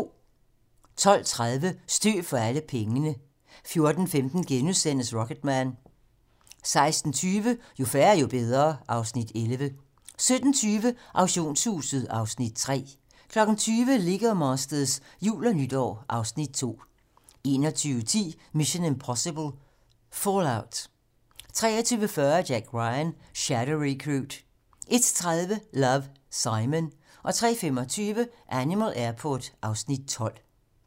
12:30: Støv for alle pengene 14:15: Rocketman * 16:20: Jo færre, jo bedre (Afs. 11) 17:20: Auktionshuset (Afs. 3) 20:00: Lego Masters - jul og nytår (Afs. 2) 21:10: Mission: Impossible - Fallout 23:40: Jack Ryan: Shadow Recruit 01:30: Love, Simon 03:25: Animal Airport (Afs. 12)